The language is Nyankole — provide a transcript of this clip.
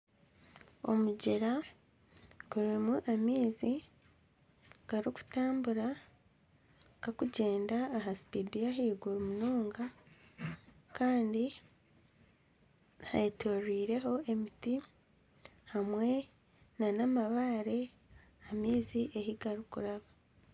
Omugyera gurimu amaizi garikutambura gakugyenda aha sipidi y'ahaiguru munonga Kandi hetoroireho emiti hamwe n'amabaare amaizi ahi garikuraba.